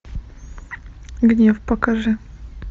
гнев покажи